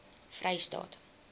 vrystaat